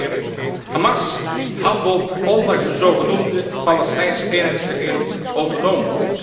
Ik citeer Hamas handelt ondanks de zogenoemde Palestijnse eenheidsregering autonoom.